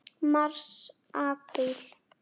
Mars Apríl